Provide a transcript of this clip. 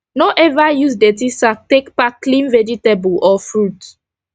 no ever use dirty sack take pack clean vegetable or fruit